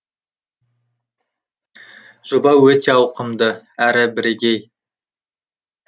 жоба өте ауқымды әрі бірегей